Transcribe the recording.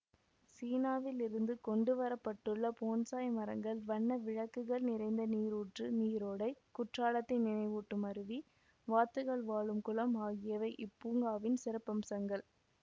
சீனாவில் இருந்து கொண்டு வரப்பட்டுள்ள போன்சாய் மரங்கள் வண்ண விளக்குகள் நிறைந்த நீருற்று நீரோடை குற்றாலத்தை நினைவூட்டும் அருவி வாத்துகள் வாழும் குளம் ஆகியவை இப்பூங்காவின் சிறப்பம்சங்கள்